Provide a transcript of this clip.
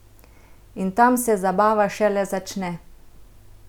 In tam se zabava šele začne!